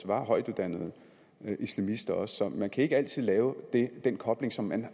var højtuddannede islamister så man kan ikke altid lave den kobling som man